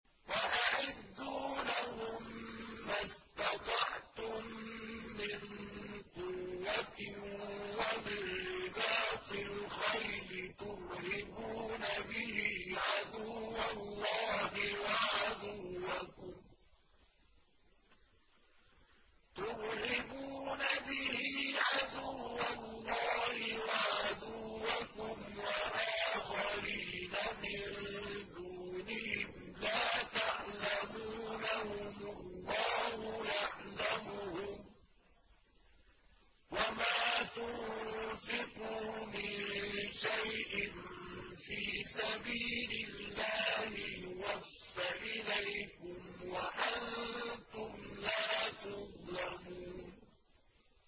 وَأَعِدُّوا لَهُم مَّا اسْتَطَعْتُم مِّن قُوَّةٍ وَمِن رِّبَاطِ الْخَيْلِ تُرْهِبُونَ بِهِ عَدُوَّ اللَّهِ وَعَدُوَّكُمْ وَآخَرِينَ مِن دُونِهِمْ لَا تَعْلَمُونَهُمُ اللَّهُ يَعْلَمُهُمْ ۚ وَمَا تُنفِقُوا مِن شَيْءٍ فِي سَبِيلِ اللَّهِ يُوَفَّ إِلَيْكُمْ وَأَنتُمْ لَا تُظْلَمُونَ